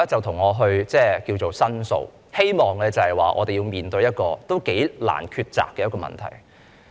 他向我申訴，希望我們面對一個頗難抉擇的問題。